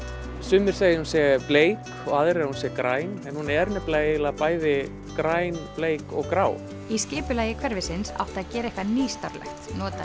sumir segja að hún sé bleik og aðrir að hún sé græn en hún er nefnilega eiginlega græn bleik og grá í skipulagi hverfisins átti að gera eitthvað nýstárlegt nota